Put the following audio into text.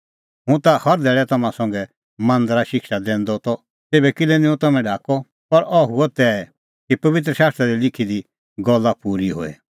हुंह ता हर धैल़ै तम्हां संघा मांदरै शिक्षा दैआ त तेभै किल्है निं हुंह तम्हैं ढाकअ पर अह हुअ तै कि पबित्र शास्त्रा दी लिखी दी गल्ला पूरी होए